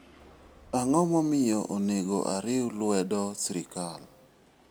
Ang'o momiyo onego ariw lwedo sirkal?